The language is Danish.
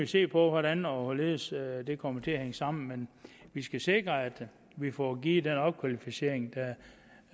se på hvordan og hvorledes det kommer til at hænge sammen men vi skal sikre at vi får givet den opkvalificering